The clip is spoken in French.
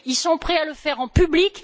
Ils sont prêts à le faire en public.